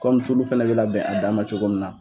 Kɔmi tulu fana bɛ labɛn a dan ma cogo min na.